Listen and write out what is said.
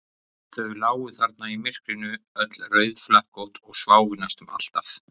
Þau lágu þarna í myrkrinu, öll rauðflekkótt, og sváfu næstum alltaf.